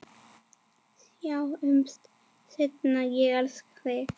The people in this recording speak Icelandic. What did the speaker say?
Sjáumst seinna, ég elska þig.